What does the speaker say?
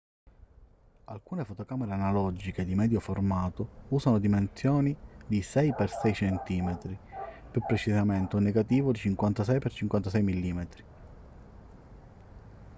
alcune fotocamere analogiche di medio formato usano dimensioni di 6x6 cm più precisamente un negativo di 56x56 mm